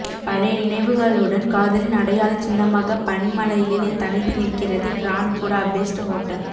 பழைய நினைவுகளுடன் காதலின் அடையாளச்சின்னமாகப் பனிமலையில் தனித்து நிற்கிறது கிராண்ட் புடாபெஸ்ட் ஹோட்டல்